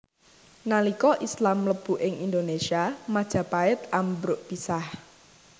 Nalika Islam mlebu ing Indonésia Majapahit ambruk pisah